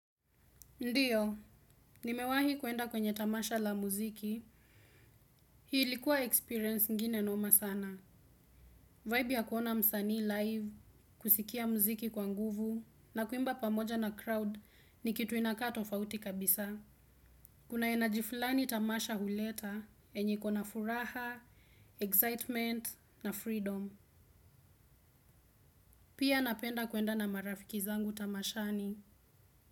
Ndio nimewaai kwenda kwenye tamasha la muziki ilikuwa experience ingine noma sana. Vibe ya kuona msanii live, kusikia muziki kwa nguvu, na kuimba pamoja na crowd ni kitu inakaa tofauti kabisa. Kuna enaji flani tamasha huleta, enye iko na furaha, excitement, na freedom. Pia napenda kuenda na marafiki zangu tamashani.